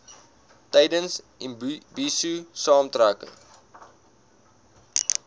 tydens imbizo saamtrekke